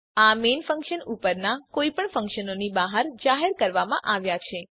આ main function ઉપરનાં કોઈપણ ફંક્શનોની બહાર જાહેર કરવામાં આવ્યા છે